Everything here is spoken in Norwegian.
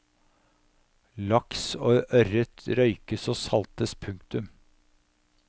Laks og ørret røykes og saltes. punktum